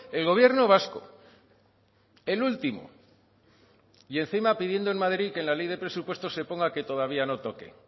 el gobierno vasco el último y encima pidiendo en madrid que en la ley de presupuestos se ponga que todavía no toque